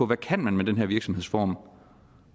man kan med den her virksomhedsform